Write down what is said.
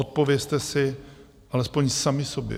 Odpovězte si alespoň sami sobě.